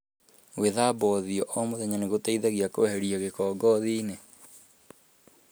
Gwíthamba ũthiũ o mũthenya nĩ gũteithagia kweheria gĩko ngothi-ĩnĩ .